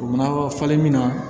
U mana falen min na